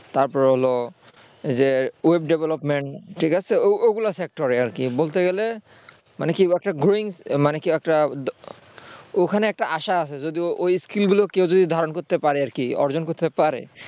তারপরে হলো যে web development ঠিক আছে ওগুলো factor আর কি বলতে গেলে মানে কি একটা বলব growing মানে ওইখানে একটা আশা আছে আর কি akill গুলো কেউ ধারণ করতে পারে অর্জন করতে পারে